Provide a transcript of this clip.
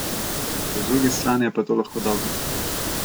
Po drugi strani je pa to lahko dobro.